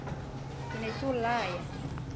ke ne ke o laya